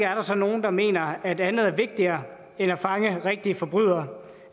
altså nogle der mener at der er vigtigere end at fange rigtige forbrydere og